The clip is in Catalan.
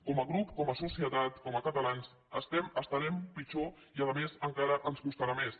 com a grup com a societat com a catalans estem estarem pitjor i a més encara ens costarà més